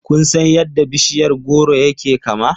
Kun san yadda bishiyar goro yake kama?